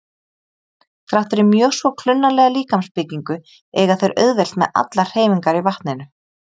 Þrátt fyrir mjög svo klunnalega líkamsbyggingu eiga þeir auðvelt með allar hreyfingar í vatninu.